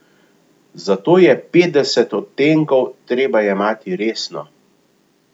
Zato je Petdeset odtenkov treba jemati resno.